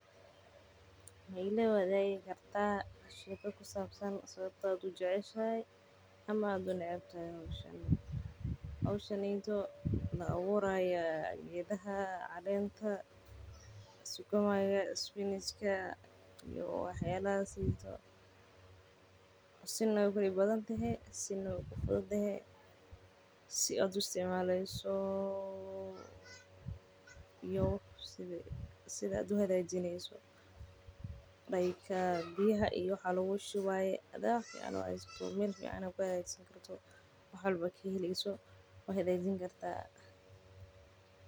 Ma ila waadigi kartaa sheeka ku sabsan sababta aad ujeceshahay ama unecbahay howshan geedaha la abuurayo si waay ku dib badan tahay si waay ku fican tahay.